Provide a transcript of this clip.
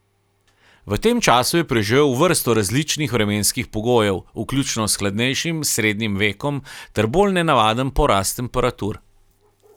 V tem času je preživel vrsto različnih vremenskih pogojev, vključno s hladnejšim srednjim vekom ter bolj nedaven porast temperatur.